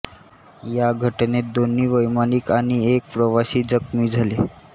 त्या घटनेत दोन्ही वैमानिक आणि एक प्रवाशी जखमी झाले